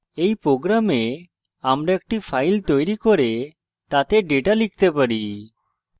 in program আমরা একটি file তৈরী করে তাতে ডেটা লিখতে পারি